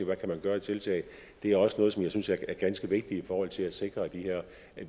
man kan gøre af tiltag det er også noget som jeg synes er ganske vigtigt i forhold til at sikre at vi